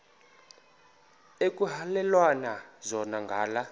ekuhhalelwana zona ngala